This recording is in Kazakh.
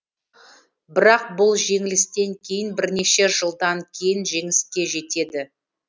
бірақ бұл жеңілістен кейін бірнеше жылдан кейін жеңіске жетеді